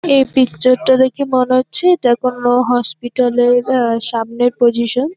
এই পিকচার -টা দেখে মনে হচ্ছে এটা কোন হসপিটাল -এর অ্যা সামনের পজিশন ।